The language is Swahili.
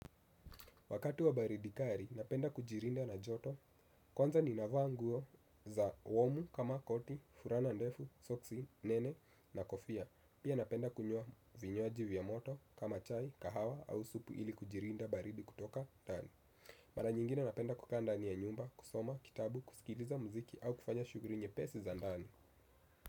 Wakatu wa baridi kali, napenda kujilinda na joto, kwanza ninavaa nguo za warm kama koti, fulana ndefu, soksi nene na kofia. Pia napenda kunywa vinywaji vya moto kama chai, kahawa au supu ili kujilinda baridi kutoka ndani. Mara nyingine napenda kukaa ndani ya nyumba, kusoma kitabu, kusikiliza muziki au kufanya shuguli nyepesi za ndani.